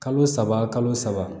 Kalo saba kalo saba